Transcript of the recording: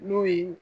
N'o ye